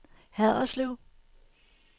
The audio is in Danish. Haderslev